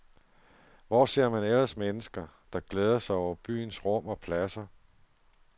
Hvor ser man ellers mennesker, der glæder sig over byens rum og pladser?